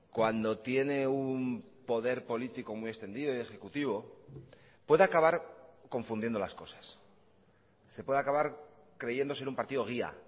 cuando tiene un poder político muy extendido y ejecutivo puede acabar confundiendo las cosas se puede acabar creyendo ser un partido guía